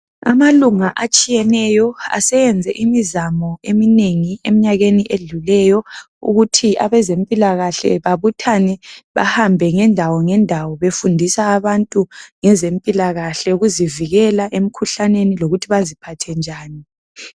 Amalunga atshiyeneyo aseyenze imizamo eminengi emnyakeni edluleyo ukuthi abezempilakahle babuthane bahambe ngendawo ngendawo befundisa abantu ngezempilakahle ukuzivikela emikhuhlaneni lokuthi baziphathe njani.